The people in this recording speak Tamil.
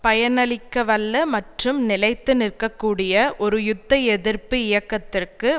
பயனளிக்கவல்ல மற்றும் நிலைத்து நிற்கக்கூடிய ஒரு யுத்த எதிர்ப்பு இயக்கத்திற்கு